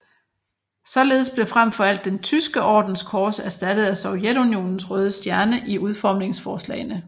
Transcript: Således blev frem for alt den Tyske Ordens kors erstattet af Sovjetunionens røde stjerne i udformningsforslagene